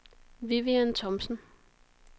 Vivian Thomsen